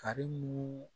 Karimu